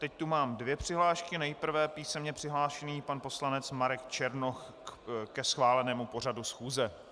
Teď tu mám dvě přihlášky, nejprve písemně přihlášený pan poslanec Marek Černoch ke schválenému pořadu schůze.